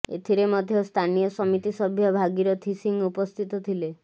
ଏଥିରେ ମଧ୍ୟ ସ୍ଥାନୀୟ ସମିତି ସଭ୍ୟ ଭାଗିରଥି ସିଂ ଉପସ୍ଥିତ ଥିଲେ